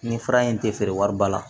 Ni fura in tɛ feere wari ba la